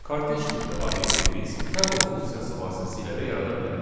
Kortej tipli obyekti biz tuple funksiyası vasitəsilə də yarada bilərik.